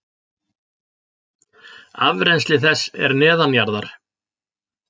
Afrennsli þess er neðanjarðar.